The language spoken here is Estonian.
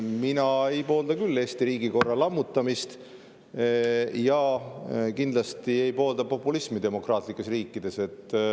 Mina küll ei poolda Eesti riigikorra lammutamist ja kindlasti ei poolda populismi demokraatlikes riikides.